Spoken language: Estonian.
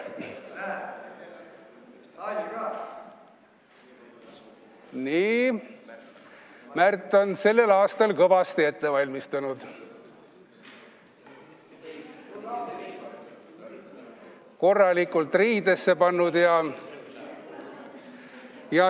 Nii, Märt on sellel aastal kõvasti ette valmistanud, end korralikult riidesse pannud.